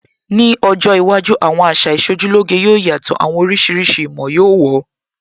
Ní ọjọ́ iwájú, àwọn àṣà Ìṣojúlóge yóò yàtọ̀, àwọn oríṣiríṣi ìmọ̀ yóó wọ̀ ọ́